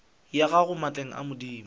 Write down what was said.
ya gago maatleng a madimo